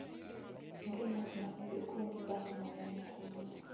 Onge ng'at ma nigi kuonde dak mang'eny ahinya.